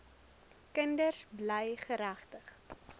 kinders bly geregtig